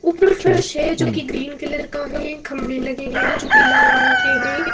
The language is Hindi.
उपर फर्श है जो की ग्रीन कलर का है। खंभे लगे हैं जो की लाल रंग के हैं।